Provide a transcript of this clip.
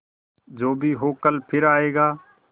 जो भी हो कल फिर आएगा